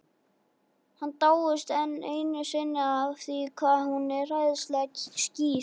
Hann dáist enn einu sinni að því hvað hún er æðislega skýr.